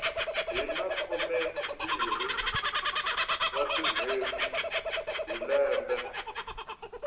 hina khumembirhi wa tinhweti hi lembe